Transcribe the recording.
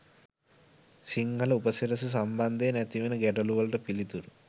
සිංහල උපසිරැසි සම්බන්ධයෙන් ඇතිවන ගැටළුවලට පිළිතුරු.